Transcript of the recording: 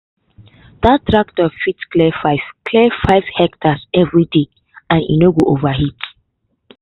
that tractor fit clear five clear five hectares every day and e no go overheat